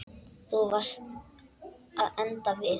Þú varst að enda við.